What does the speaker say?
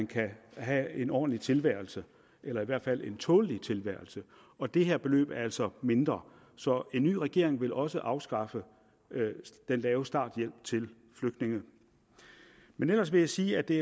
kan have en ordentlig tilværelse eller i hvert fald en tålelig tilværelse og det her beløb er altså mindre så en ny regering vil også afskaffe den lave starthjælp til flygtninge ellers vil jeg sige at det